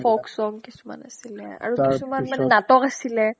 folk song কিছুমান আছিলে আৰু তাৰপিছত কিছুমান মানে নাটক আছিলে